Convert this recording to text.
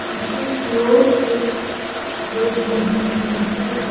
पीछे की ओर एक बेड लगी हुई है।